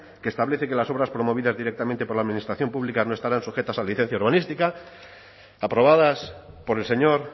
que establece que las obras promovidas directamente por la administración pública no estarán sujetas a licencia urbanística aprobadas por el señor